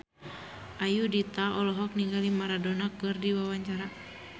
Ayudhita olohok ningali Maradona keur diwawancara